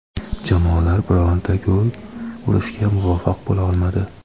jamoalar bironta gol urishga muvaffaq bo‘lolmadi.